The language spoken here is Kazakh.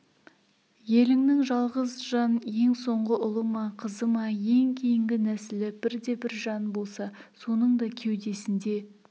еліңнің жалғыз жан ең соңғы ұлы ма қызы ма ең кейінгі нәсілі бірде-бір жан болса соның да кеудесінде